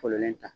Fɔlɔlen ta